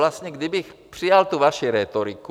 Vlastně kdybych přijal tu vaši rétoriku...